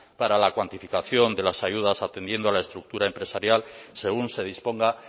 para la cuantificación de las ayudas ateniendo a la estructura empresarial según se disponga